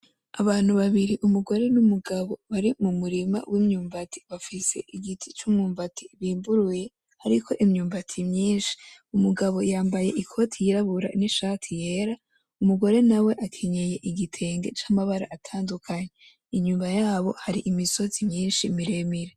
Abantu babiri umugore n'umugabo bari mu murima w'imyumbati, bafise igiti c'umwumbati bimburuye hariko imyumbati myinshi, umugabo yambaye ikoti yirabura; n'ishati yera; umugore nawe akenyeye igitenge c'amabara atandukanye, inyuma yabo hari imisozi myinshi miremire.